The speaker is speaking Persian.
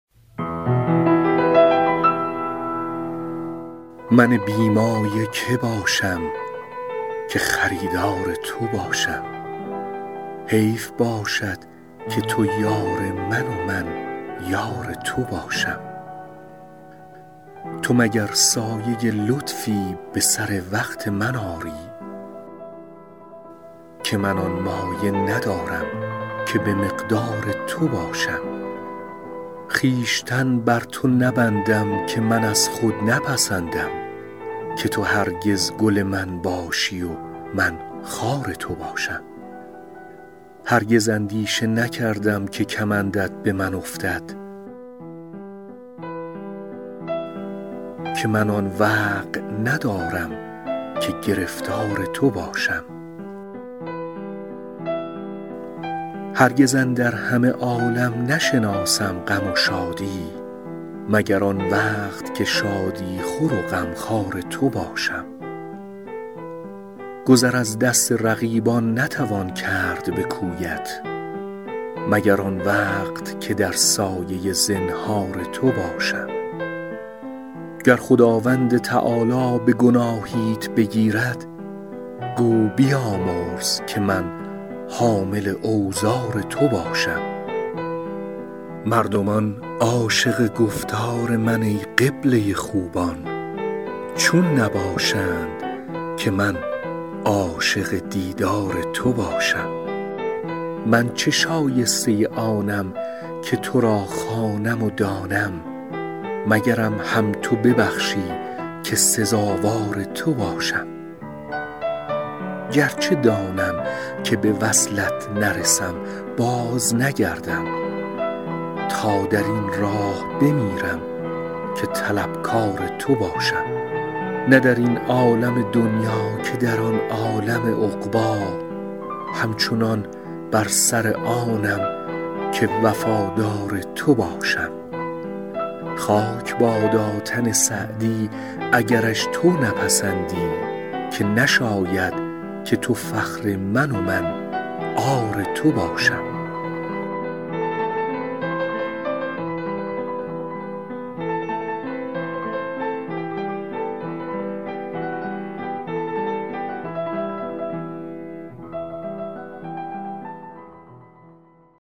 من بی مایه که باشم که خریدار تو باشم حیف باشد که تو یار من و من یار تو باشم تو مگر سایه لطفی به سر وقت من آری که من آن مایه ندارم که به مقدار تو باشم خویشتن بر تو نبندم که من از خود نپسندم که تو هرگز گل من باشی و من خار تو باشم هرگز اندیشه نکردم که کمندت به من افتد که من آن وقع ندارم که گرفتار تو باشم هرگز اندر همه عالم نشناسم غم و شادی مگر آن وقت که شادی خور و غمخوار تو باشم گذر از دست رقیبان نتوان کرد به کویت مگر آن وقت که در سایه زنهار تو باشم گر خداوند تعالی به گناهیت بگیرد گو بیامرز که من حامل اوزار تو باشم مردمان عاشق گفتار من ای قبله خوبان چون نباشند که من عاشق دیدار تو باشم من چه شایسته آنم که تو را خوانم و دانم مگرم هم تو ببخشی که سزاوار تو باشم گرچه دانم که به وصلت نرسم بازنگردم تا در این راه بمیرم که طلبکار تو باشم نه در این عالم دنیا که در آن عالم عقبی همچنان بر سر آنم که وفادار تو باشم خاک بادا تن سعدی اگرش تو نپسندی که نشاید که تو فخر من و من عار تو باشم